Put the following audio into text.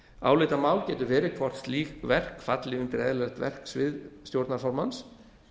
álitamál getur verið hvort slík verk falli undir eðlilegt verksvið stjórnarformanns